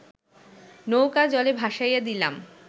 নৌকা জলে ভাসাইয়া দিলাম